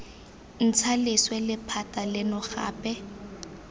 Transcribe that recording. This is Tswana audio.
ntsha leswe lephata leno gape